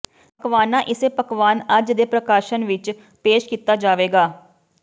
ਪਕਵਾਨਾ ਇਸੇ ਪਕਵਾਨ ਅੱਜ ਦੇ ਪ੍ਰਕਾਸ਼ਨ ਵਿਚ ਪੇਸ਼ ਕੀਤਾ ਜਾਵੇਗਾ